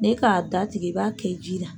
N'i ka k'a da tigɛ, i b'a kɛ ji la.